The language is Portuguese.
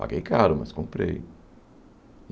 Paguei caro, mas comprei.